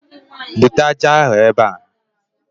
Bute ájá ahụ ebe a